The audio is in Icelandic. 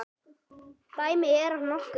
Dæmi: Er hann nokkuð?